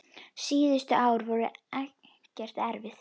Síðustu árin voru Eggerti erfið.